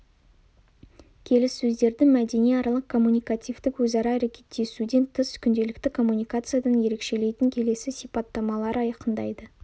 келіссөздерді мәдениаралық коммуникативтік өзара әрекеттесуден тыс күнделікті коммуникациядан ерекшелейтін келесі сипаттамалары айқындайды